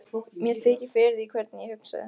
Mér þykir fyrir því hvernig ég hugsaði.